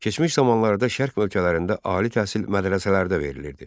Keçmiş zamanlarda şərq ölkələrində ali təhsil mədrəsələrdə verilirdi.